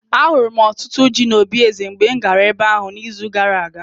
Ahụrụ m ọtụtụ ji n'obí eze mgbe m gara ebe ahụ n'izu gara aga.